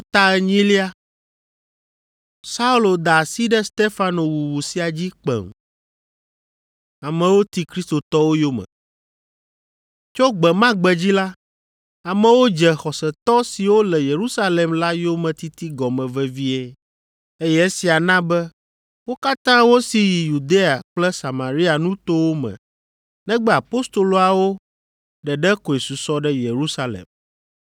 Saulo da asi ɖe Stefano wuwu sia dzi kpem. Tso gbe ma gbe dzi la, amewo dze xɔsetɔ siwo le Yerusalem la yometiti gɔme vevie, eye esia na be wo katã wosi yi Yudea kple Samaria nutowo me negbe apostoloawo ɖeɖe koe susɔ ɖe Yerusalem.